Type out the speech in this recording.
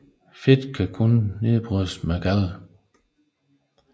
Fedt kan kun nedbrydes med galde